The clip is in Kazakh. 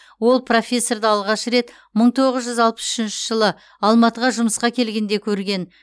ол профессорды алғаш рет мың тоғыз жүз алпыс үшінші жылы алматыға жұмысқа келгенде көрген